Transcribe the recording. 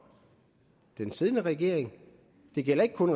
den siddende regering det gælder ikke kun